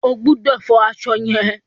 O ò gbọdọ̀ fọ aṣọ yẹn.